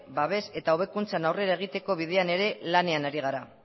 babes eta hobekuntza aurrera egiteko bidean ere lanean ari gara